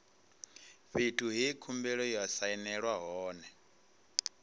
fhethu he khumbelo ya sainelwa hone